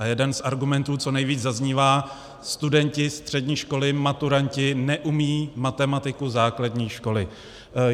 A jeden z argumentů, co nejvíc zaznívá, studenti střední školy, maturanti neumějí matematiku základní školy.